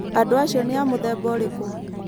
Andũ acio nĩ a mũthemba ũrĩkũ?